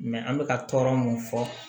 an bɛ ka tɔɔrɔ mun fɔ